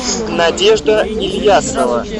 надежда ильясова